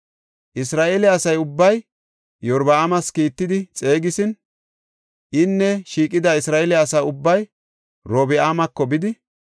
Isra7eele asa ubbay Iyorbaamas kiittidi xeegisin, inne shiiqida Isra7eele asa ubbay Orobi7aamako bidi,